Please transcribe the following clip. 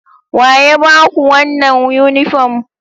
Waya ba ku wannan yunifom?